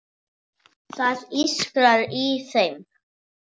Það ískrar í þeim.